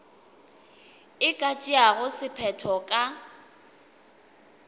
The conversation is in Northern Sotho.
e ka tšeago sephetho ka